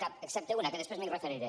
cap excepte una que després m’hi referiré